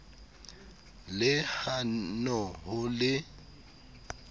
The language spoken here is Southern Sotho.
le ha hone ho le